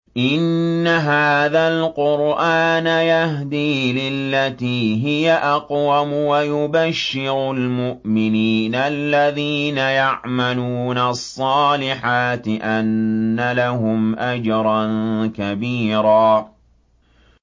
إِنَّ هَٰذَا الْقُرْآنَ يَهْدِي لِلَّتِي هِيَ أَقْوَمُ وَيُبَشِّرُ الْمُؤْمِنِينَ الَّذِينَ يَعْمَلُونَ الصَّالِحَاتِ أَنَّ لَهُمْ أَجْرًا كَبِيرًا